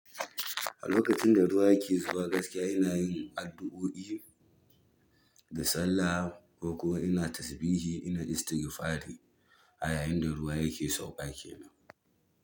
A lokacin da ruwa ke zuwa gaskiya ina yin addu'o'i da sallah ko ina tasbihi ina istigfari a yayin da ruwa yake sauƙa kenan.